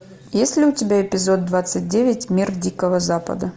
есть ли у тебя эпизод двадцать девять мир дикого запада